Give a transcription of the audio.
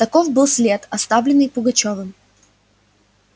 таков был след оставленный пугачёвым